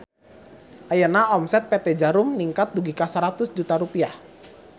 Ayeuna omset PT Djarum ningkat dugi ka 100 juta rupiah